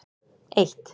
eitt